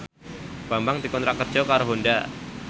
Bambang dikontrak kerja karo Honda